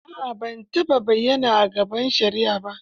A'a ban taɓa bayyana a gaban shari'a ba.